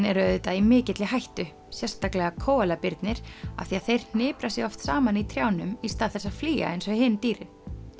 eru auðvitað í mikilli hættu sérstaklega af því að þeir hnipra sig oft saman í trjánum í stað þess að flýja eins og hin dýrin